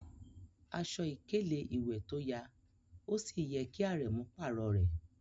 Aṣọ̀ ikèlè-iwé tó yà òṣì yẹ̀ kí Árẹ̀mú párọ̀ rẹ.